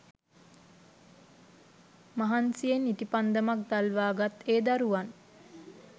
මහන්සියෙන් ඉටිපන්දමක් දල්වා ගත් ඒ දරුවන්